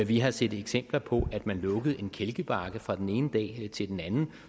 vi har set eksempler på at man lukkede en kælkebakke fra den ene dag til den anden